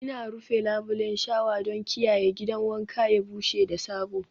Ina rufe labulen shawa don kiyaye gidan wanka ya bushe da sabo